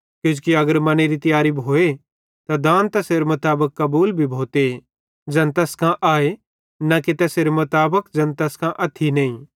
किजोकि अगर मनेरी तियारी भोए त दान तैसेरे मुताबिक कबूल भी भोते ज़ैन तैस कां आए न कि तैसेरे मुताबिक ज़ैन तैस कां अथ्थी नईं